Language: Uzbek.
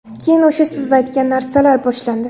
Keyin o‘sha siz aytgan narsalar boshlandi.